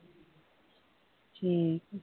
ਠੀਕ ਆ।